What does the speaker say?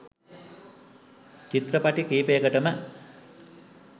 චිත්‍රපටි කීපයකටම